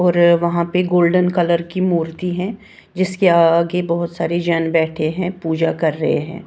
और वहां पर गोल्डन कलर की मूर्ति है जिसके आगे बहुत सारे जन बैठे हैं पूजा कर रहे हैं।